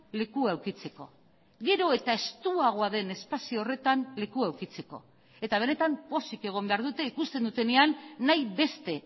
lekua edukitzeko gero eta estuagoa den espazio horretan lekua edukitzeko eta benetan pozik egon behar dute ikusten dutenean nahi beste